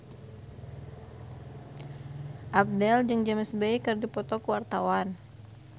Abdel jeung James Bay keur dipoto ku wartawan